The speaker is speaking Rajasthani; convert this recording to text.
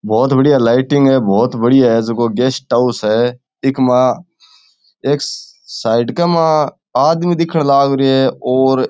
बहुत बढ़िया लाइटिंग है बहुत बढ़िया है जको गेस्ट हॉउस है इक मा एक साइड के मा आदमी दिखन लाग रियो है और --